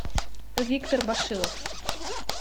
виктор башилов